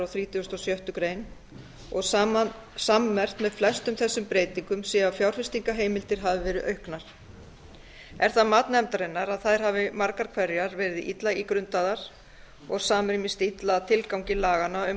og sjöttu greinar og sammerkt með flestum þessum breytingum sé að fjárfestingarheimildir hafi verið auknar er það mat nefndarinnar að þær hafi margar hverjar verið illa ígrundaðar og samrýmist illa tilgangi laganna um